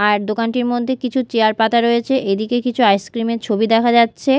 আর দোকানটির মদ্যে কিছু চেয়ার পাতা রয়েছে এদিকে কিছু আইস ক্রিম -এর ছবি দেখা যাচ্ছে।